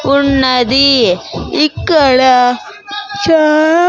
ఉన్నది ఇక్కడ చా--